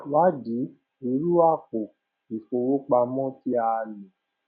ii wádìí irú àpò ìfowópamọ tí a lò